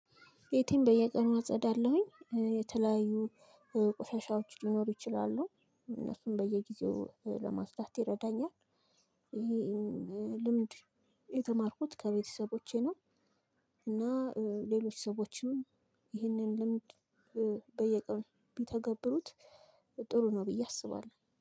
ቤተን በየቀኑ አፀዳለሁኝ። የተለያዩ ቆሻሻዎች ሊኖሩ ይችላሉ። እነሱን በየጊዜው ለማጽዳት ይረዳኛል። ይህን ልምድ የተማርኩት ከቤተሰቦቼ ነው። እና ሌሎች ሰዎችም ይህንን ልምድ በየቀኑ ቢተገብሩት- ጥሩ ነው ብዬ አስባለሁ።